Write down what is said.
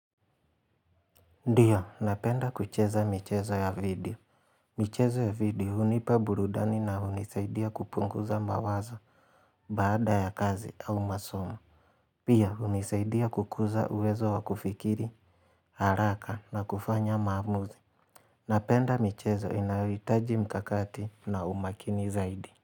Ndiyo, napenda kucheza michezo ya video. Michezo ya video hunipa burudani na hunisaidia kupunguza mawazo baada ya kazi au masomo. Pia, hunisaidia kukuza uwezo wa kufikiri, haraka na kufanya maamuzi. Napenda michezo inayohitaji mikakati na umakini zaidi.